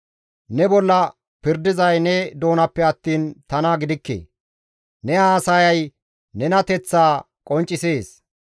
Ne bolla pirdizay ne doonappe attiin tana gidikke; ne haasayay nenateththaa qonccisees.